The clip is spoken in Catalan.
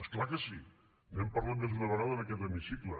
és clar que sí n’hem parlat més d’una vegada en aquest hemicicle